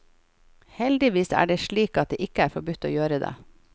Heldigvis er det slik at det ikke er forbudt å gjøre det.